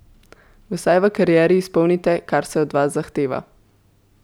Vsaj v karieri izpolnite, kar se od vas zahteva.